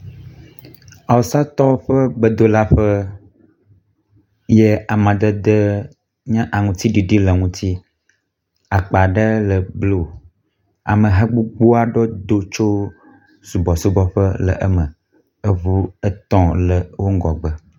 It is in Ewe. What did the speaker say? awusatɔwo ƒe gbedolaƒe ye amadede yi nye aŋutsiɖiɖi le ŋuti aba ɖe le blu ameha gbogboaɖewo do tso subɔsubɔƒe le eme, eʋu etɔ̃ le wó ŋgɔgbe